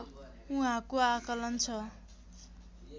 उहाँको आकलन छ